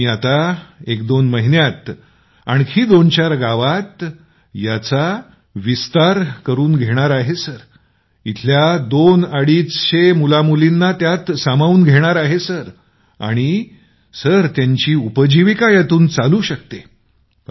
मी आता एकदोन महिन्यात आणखी विस्तार करून दोन अडीचशे गावांमध्ये जितकी मुलं मुली आहेत त्यांना यात सामावून घेता येईल सर आणि त्यांची उपजीविका यातून चालू शकते सर